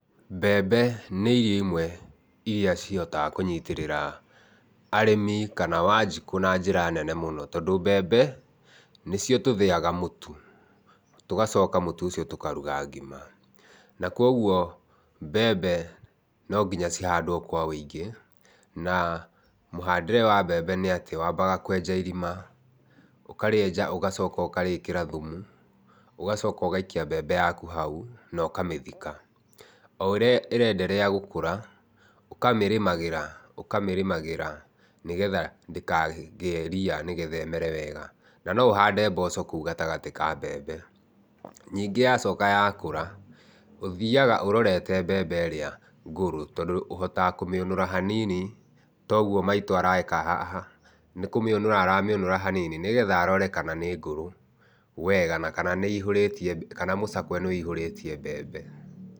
Mbembe nĩ irio imwe iria ihotaga kũnyitĩrĩra arĩmĩ kana Wanjikũ na njĩra nene mũno, tondũ mbembe nĩcio tũthĩaga mũtu, tũgacoka mũtu ũcio tũkaruga ngima na kugwo mbembe no nginya cihandwo kwa ũingĩ, na mũhandĩre wa mbembe nĩ atĩ, wambaga kwenja irima, ũkarĩenja ũgacoka ũkarĩkĩra thumu, ũgacoka ũgaikia mbembe yaku hao na ũkamĩthika. O ũrĩa ĩrenderea gũkũra, ũkamĩrĩmagĩra, ũkamĩrĩmagĩra nĩgetha ndĩkagĩe ria nĩgetha ĩmere wega, na no ũhande mboco kũu gatagatĩ ka mbembe. Ningĩ yacoka yakũra, ũthiaga ũrorete mbembe ĩrĩa ngũrũ, tondũ ũhotaga kũmĩũnũra hanini ta ũguo maitũ areka haha, nĩ kũmĩũnũra aramĩũnũra hanini nĩgetha arore kana nĩngũrũ wega na kana nĩihũrĩtie, kana mũcakwe nĩũihũrĩtie mbembe.